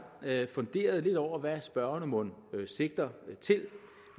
jeg funderet lidt over hvad spørgerne mon sigter til